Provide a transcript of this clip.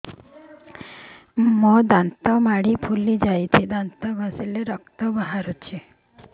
ମୋ ଦାନ୍ତ ମାଢି ଫୁଲି ଯାଉଛି ଦାନ୍ତ ଘଷିଲେ ରକ୍ତ ବାହାରୁଛି